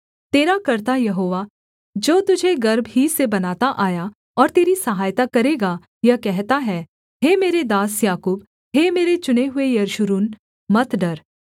तेरा कर्ता यहोवा जो तुझे गर्भ ही से बनाता आया और तेरी सहायता करेगा यह कहता है हे मेरे दास याकूब हे मेरे चुने हुए यशूरून मत डर